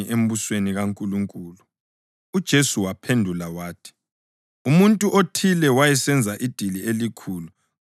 UJesu waphendula wathi, “Umuntu othile wayesenza idili elikhulu ngakho wanxusa abantu abanengi.